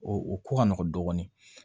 O o ko ka nɔgɔn dɔɔnin